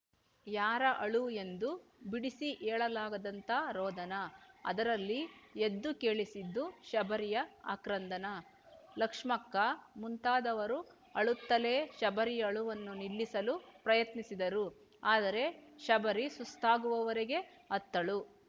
ಯಾರ ಅಳು ಎಂದು ಬಿಡಿಸಿ ಹೇಳಲಾಗದಂಥ ರೋಧನ ಅದರಲ್ಲಿ ಎದ್ದು ಕೇಳಿಸಿದ್ದು ಶಬರಿಯ ಆಕ್ರಂದನ ಲಕ್ಷ್ಮಕ್ಕ ಮುಂತಾದವರು ಅಳುತ್ತಲೆ ಶಬರಿಯ ಅಳುವನ್ನು ನಿಲ್ಲಿಸಲು ಪ್ರಯತ್ನಿಸಿದರು ಆದರೆ ಶಬರಿ ಸುಸ್ತಾಗುವವರೆಗೆ ಅತ್ತಳು